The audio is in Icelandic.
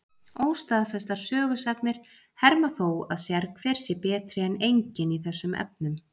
Óstaðfestar sögusagnir herma þó að sérhver sé betri en enginn í þessum efnum.